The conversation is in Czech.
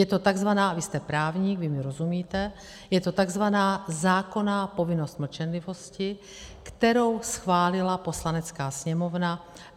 Je to takzvaná - vy jste právník, vy mi rozumíte - je to takzvaná zákonná povinnost mlčenlivosti, kterou schválila Poslanecká sněmovna.